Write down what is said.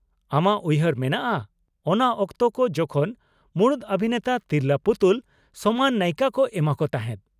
ᱟᱢᱟᱜ ᱩᱭᱦᱟᱹᱨ ᱢᱮᱱᱟᱜᱼᱟ ᱚᱱᱟ ᱚᱠᱛᱚ ᱠᱚ ᱡᱚᱠᱷᱚᱱ ᱢᱩᱲᱩᱫ ᱚᱵᱷᱤᱱᱮᱛᱟ ᱛᱤᱨᱞᱟ. ᱯᱩᱛᱩᱞ ᱥᱚᱢᱟᱱ ᱱᱟᱭᱤᱠᱟ ᱠᱚ ᱮᱢᱟ ᱠᱚ ᱛᱟᱦᱮᱸᱫ ᱾